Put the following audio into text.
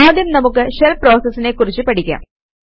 ആദ്യം നമുക്ക് ഷെല് പ്രോസസിനെ കുറിച്ച് പഠിക്കാം